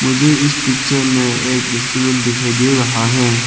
मुझे इस पिक्चर में एक रेस्टोरेंट दिखाई दे रहा है।